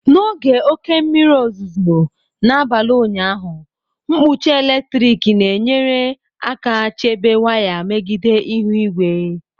N'oge oke mmiri ozuzo n'abalị ụnyaahụ, nkpuchi eletrik na-enyere aka chebe waya megide ihu igwe.